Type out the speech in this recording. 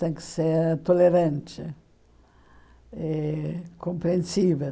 Tem que ser tolerante, eh compreensível.